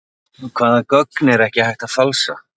Hvaða gögn er ekki hægt að falsa?